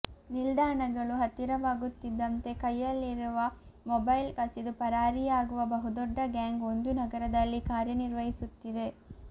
ನಿಲ್ದಾಣಗಳು ಹತ್ತಿರವಾಗುತ್ತಿದ್ದಂತೆ ಕೈಯಲ್ಲಿರುವ ಮೊಬೈಲ್ ಕಸಿದು ಪರಾರಿಯಾಗುವ ಬಹುದೊಡ್ಡ ಗ್ಯಾಂಗ್ ಒಂದು ನಗರದಲ್ಲಿ ಕಾರ್ಯನಿರ್ವಹಿಸುತ್ತಿದೆ